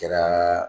Kɛra